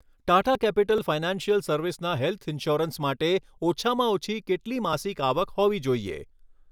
Tata capital financial સર્વિસના health insurance માટે ઓછામાં ઓછી કેટલી માસિક આવક હોવી જોઈએ